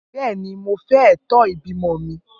Bẹẹni, Mo fẹ eto ibimọ mi.